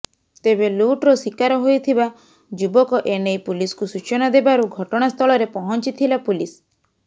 ତେବେ ଲୁଟର ଶିକାର ହୋଇଥବା ଯୁବକ ଏନେଇ ପୁଲିସକୁ ସୂଚନା ଦେବାରୁ ଘଟଣାସ୍ଥଳରେ ପହଁଚିଥିଲା ପୁଲିସ୍